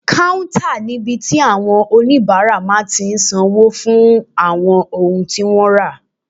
Káúntà ní ibi tí àwọn oníbàárà máa tí n sanwó fún àwọn ohun tí wọ́n rà